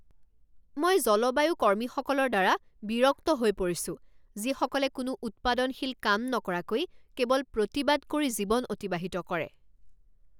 মই জলবায়ু কৰ্মীসকলৰ দ্বাৰা বিৰক্ত হৈ পৰিছো যিসকলে কোনো উৎপাদনশীল কাম নকৰাকৈ কেৱল প্ৰতিবাদ কৰি জীৱন অতিবাহিত কৰে।